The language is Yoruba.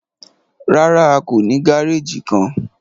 Rárá, a kò ní gàrèjì kán.